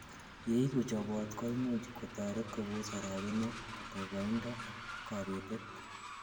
yeigu chobot koimuch kotoret kobos orogenet, boiboindo ak kobetet